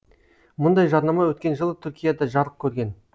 мұндай жарнама өткен жылы түркияда жарық көрген